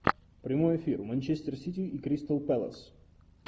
прямой эфир манчестер сити и кристал пэлас